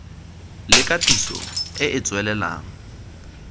le katiso e e tswelelang